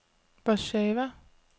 Warsawa